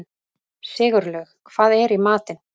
Sigurlaug, hvað er í matinn?